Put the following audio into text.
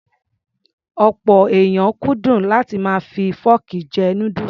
Ọ̀pọ̀ èèyàn kúndùn láti máa fi fọ́ọ̀kì jẹ núdùsù.